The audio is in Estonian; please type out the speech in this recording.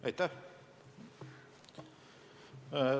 Aitäh!